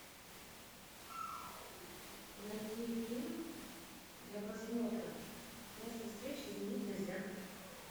найти фильм для просмотра место встречи изменить нельзя